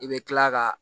I bɛ kila ka